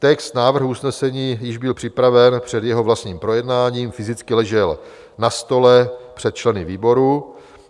Text návrhu usnesení byl již připraven před jeho vlastním projednáním, fyzicky ležel na stole před členy výboru.